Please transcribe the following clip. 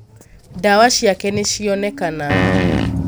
Ndawa ciake nĩcionekana